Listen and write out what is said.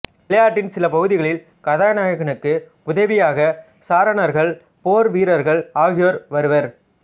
விளையாட்டின் சில பகுதிகளில் கதாநாயகனுக்கு உதவியாக சாரணர்கள் போர் வீரர்கள் ஆகியோர் வருவர்